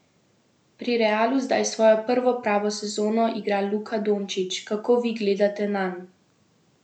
Pri Realu zdaj svojo prvo pravo sezono igra Luka Dončić, kako vi gledate nanj?